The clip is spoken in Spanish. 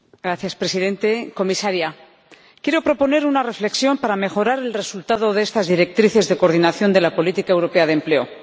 Señor Presidente, señora Comisaria, quiero proponer una reflexión para mejorar el resultado de estas directrices de coordinación de la política europea de empleo.